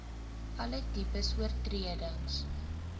alle tipes oortredings